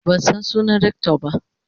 man San sunan Rector ba.